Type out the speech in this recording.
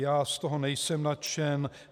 Já z toho nejsem nadšen.